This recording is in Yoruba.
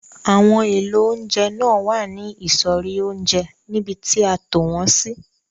Àwọn èlò oúnjẹ náà wà ní ìsọ̀rí oúnjẹ níbi tí a tò wọn sí.